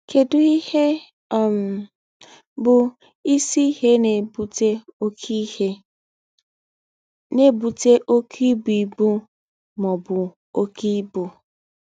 Kedụ ihe um bụ isi ihe na-ebute oke ihe na-ebute oke ibu ibu ma ọ bụ oke ibu?